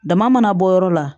Dama mana bɔ yɔrɔ la